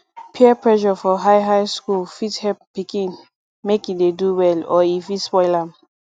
peer pressure for high high school fit help pikin make e dey do well or e fit spoil am